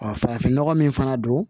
farafinnɔgɔ min fana don